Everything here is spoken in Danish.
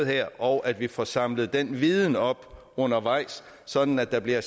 her og at vi får samlet den viden op undervejs sådan at der bliver